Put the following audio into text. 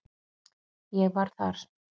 Ég var þar